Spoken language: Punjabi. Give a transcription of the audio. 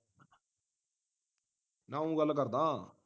ਨਾ ਉਹ ਗੱਲ ਕਰਦਾ ਹਾਂ